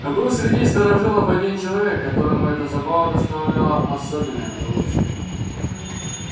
но был среди старожилов один человек которому эта забава доставляла особенное удовольствие